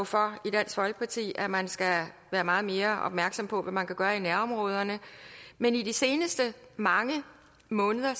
for i dansk folkeparti at man skal være meget mere opmærksom på hvad man kan gøre i nærområderne men i de seneste mange måneder